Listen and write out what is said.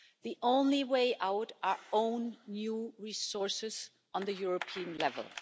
the only way out is our own new resources at European level.